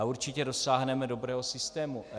A určitě dosáhneme dobrého systému.